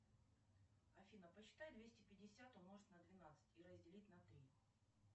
афина посчитай двести пятьдесят умножить на двенадцать и разделить на три